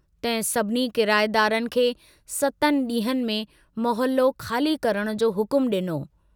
तहिं सभिनी किराएदारनि खे सतनि डींहंनि में मोहल्लो खाली करण जो हुकमु डिनो।